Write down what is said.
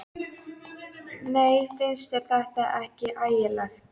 Nei, finnst þér þetta ekki ægilegt?